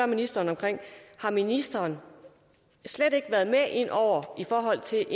ministeren har ministeren slet ikke været med inde over i forhold til